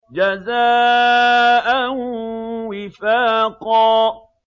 جَزَاءً وِفَاقًا